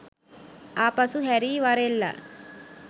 ආපසු හැරී වරෙල්ලා.